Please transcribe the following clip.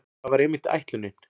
Það var einmitt ætlunin.